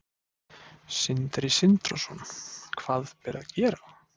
Sindri Sindrason: Hvað ber að gera?